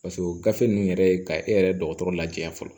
Paseke o gafe ninnu yɛrɛ ye ka e yɛrɛ dɔgɔtɔrɔ lajɛya fɔlɔ